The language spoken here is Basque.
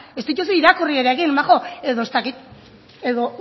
ez dituzu irakurri ere egin edo ez dakit edo